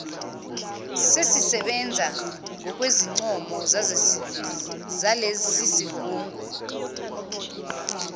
sesisebenza ngokwezincomo zalesisigungu